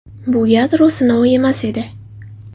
Bu yadro sinovi emas edi.